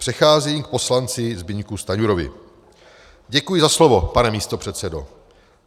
Přecházím k poslanci Zbyňku Stanjurovi: "Děkuji za slovo, pane místopředsedo.